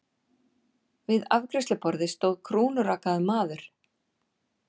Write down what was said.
Við afgreiðsluborðið stóð krúnurakaður maður.